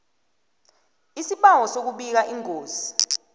isibawo sokubika ingozi